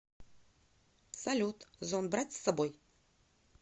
салют зонт брать с собой